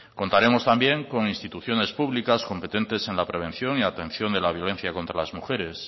contaremos también con instituciones públicas competentes en la prevención y atención de la violencia contra las mujeres